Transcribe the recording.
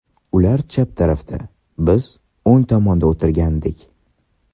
Ular chap tarafda, biz o‘ng tomonda o‘tirgandik.